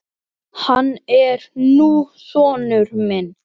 Hann er nú sonur minn.